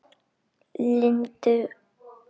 Lindu út.